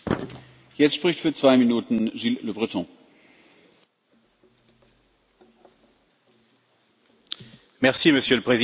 Monsieur le Président, face à la submersion migratoire, l'Union européenne a fait preuve de son angélisme habituel en ouvrant ses frontières en grand.